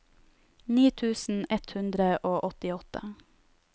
ni tusen ett hundre og åttiåtte